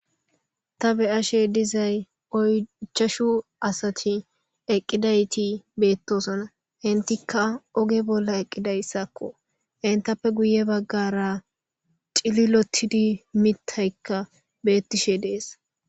Ta be ashe dizay oychashu asati eqqidayti beettosona hintikka oge bolla eqqidayssakko hintappe guye baggara cililotidi mitaykka beettishe dees.